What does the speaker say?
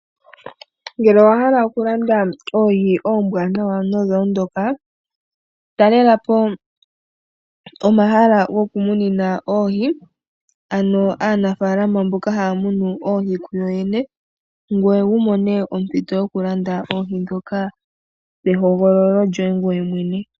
Ngele owa hala okulanda oohi onbwaanawa nodha ondoka, talela po omala gokumunina oohi. Aanimuna mboka haya munu oohi yo yene, ngoye wu mone ompito yokulanda oohi ndhoka nehogololo lyoye mwene.